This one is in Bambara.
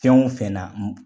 Fɛn o fɛn na